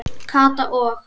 Kata og